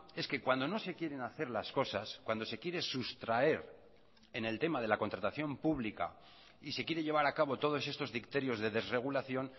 es que cuando no se quieren hacer las cosas cuando se quiere sustraer en el tema de la contratación pública y se quiere llevar a cabo todos estos dicterios de desregulación